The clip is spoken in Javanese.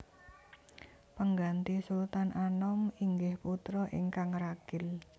Pengganti Sultan Anom inggih putra ingkang ragil